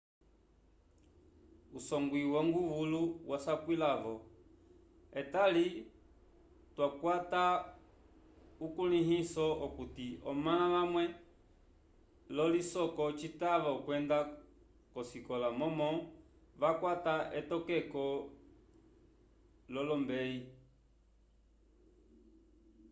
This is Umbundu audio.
usongw wonguvulu wasapwila-vo etali twakwata ukulĩhiso okuti omãla vamwe l'ocisoko citava okwenda k'osikola momo vakwata etokeko l'olombeyi